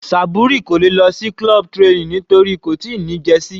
Saburi kò lè lọ sí club training nítorí kò tíì ní jersey.